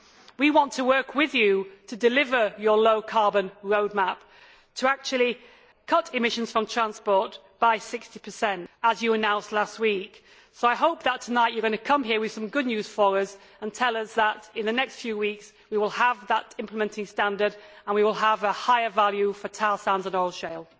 We want to work with you to deliver your low carbon roadmap to actually cut emissions from transport by 60 as you announced last week, so I hope that tonight you are going to come here with some good news for us and tell us that in the next few weeks we will have that implementing standard and we will have a higher value for tar sands and oil shale.